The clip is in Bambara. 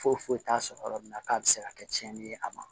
Foyi foyi t'a sɔrɔ yɔrɔ min na k'a bɛ se ka kɛ tiɲɛni ye a ma